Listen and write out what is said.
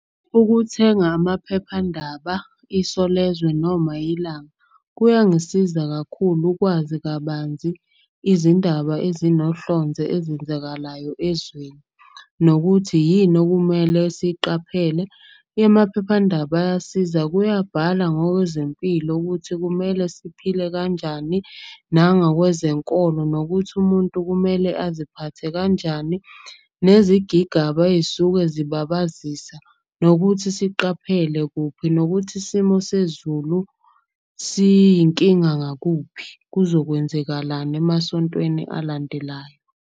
Ukuthenga amaphephandaba, Isolezwe noma Ilanga kuyangisiza kakhulu ukwazi kabanzi izindaba ezinohlonze ezenzakalayo ezweni. Nokuthi yini okumele siyiqaphele. Imaphephandaba ayasiza kuyabhalwa ngokwezempilo ukuthi kumele siphile kanjani. Nangokwezenkolo, nokuthi umuntu kumele aziphathe kanjani, nezigigaba ey'suke zibabazisa, nokuthi siqaphele kuphi. Nokuthi isimo sezulu siyinkinga ngakuphi, kuzokwenzakalani emasontweni alandelayo.